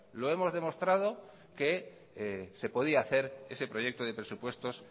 lo hemos demostrado que se podía hacer ese proyecto de presupuestos